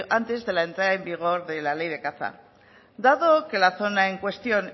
antes de la entrada vigor de la ley de caza dado que la zona en cuestión